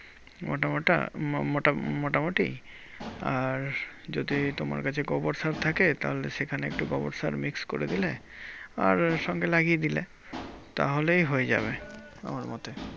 মোটা মোটা ম~ মোটা~ মোটামুটি আর যদি তোমার কাছে গোবর সার থাকে তাহলে সেখানে একটু গোবর সার mix করে দিলে আর সঙ্গে লাগিয়ে দিলে, তাহলেই হয়ে যাবে, আমার মতে।